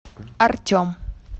артем